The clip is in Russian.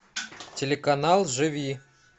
телеканал живи